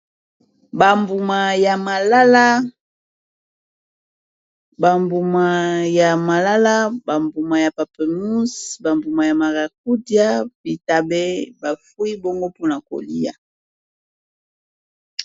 bambuma ya malala, bambuma ya malala bambuma ya papyermus bambuma ya maracuja ,bitabe bafuniki bongo pona kolia